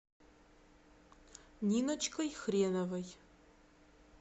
ниночкой хреновой